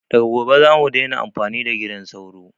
Daga gobe zamu daina amfani da gidan sauro